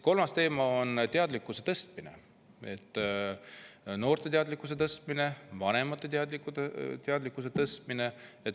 Kolmas teema on teadlikkuse tõstmine, noorte teadlikkuse tõstmine ja vanemate teadlikkuse tõstmine.